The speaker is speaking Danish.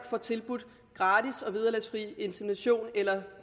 får tilbudt gratis og vederlagsfri insemination eller